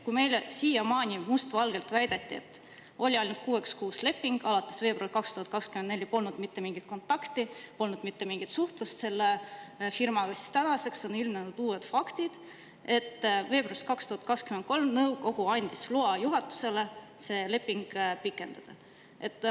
Kui meile siiamaani must valgel väideti, et oli ainult kuueks kuuks leping, alates veebruarist 2024 polnud mitte mingit kontakti, polnud mitte mingit suhtlust selle firmaga, siis tänaseks on ilmnenud uued faktid: veebruaris 2023 andis nõukogu juhatusele loa seda lepingut pikendada.